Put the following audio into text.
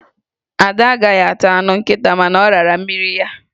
Ada agaghị ata anụ nkịta, mana ọ rara mmiri ya.